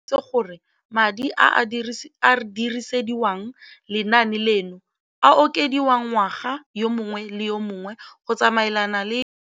Rakwena o tlhalositse gore madi a a dirisediwang lenaane leno a okediwa ngwaga yo mongwe le yo mongwe go tsamaelana le